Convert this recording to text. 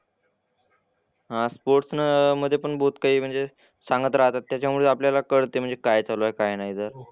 हां स्पोर्ट्सनं मधे पण बहोत काही म्हणजे सांगत राहतात त्याच्यामुळे आपल्याला कळते म्हणजे काय चालू आहे काय नाही तर.